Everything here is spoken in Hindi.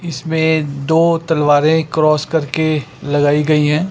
इस पे दो तलवारे क्रॉस करके लगाई गई है।